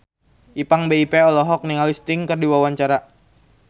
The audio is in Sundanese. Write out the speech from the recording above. Ipank BIP olohok ningali Sting keur diwawancara